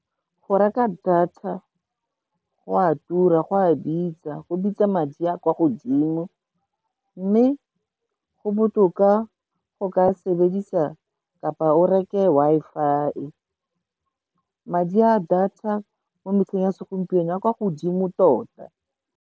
Go reka data go a tura, go a bitsa, go bitsa madi a kwa godimo, mme go botoka, go ka sebedisa kapa o reke Wi-Fi-e. Madi a data mo metlheng ya segompieno, a kwa godimo tota.